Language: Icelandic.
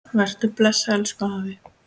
Vertu bless, elsku afi.